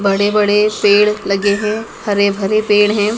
बड़े बड़े पेड़ लगे हैं हरे भरे पेड़ हैं।